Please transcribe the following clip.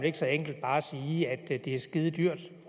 ikke så enkelt bare at sige at det er skidedyrt